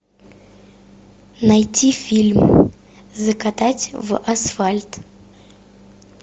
найти фильм закатать в асфальт